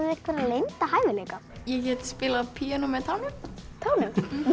einhverja leynda hæfileika ég get spilað á píanó með tánum